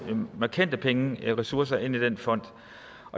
markante pengeressourcer ind i den fond